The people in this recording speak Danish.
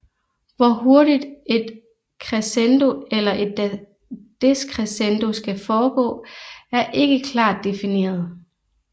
Hvor hurtigt et crescendo eller et decrescendo skal foregå er ikke klart difineret